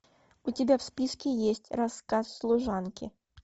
у тебя в списке есть рассказ служанки